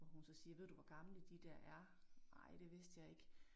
Og hun så siger ved du hvor gamle de dér er? Nej det vidste jeg ikke